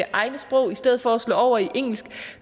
egne sprog i stedet for at slå over i engelsk